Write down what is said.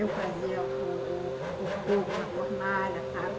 Eu fazia o o o fogo na fornalha, sabe?